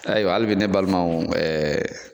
Ayiwa hali bi ne balimaw ɛɛ